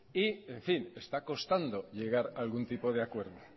y está constando llegar algún tipo de acuerdo